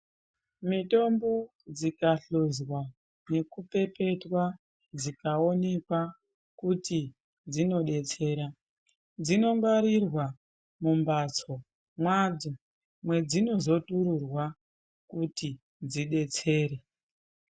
Mitombo dzikahluzwa nekupepetwa dzikaonekwa kuti dzinodetsera dzinongwarirwa mumbatso mwadzo mwadzinozotururwa kuti dzidetsere.